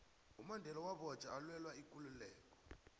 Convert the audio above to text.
umandela wabotjhwa alwela ikululeko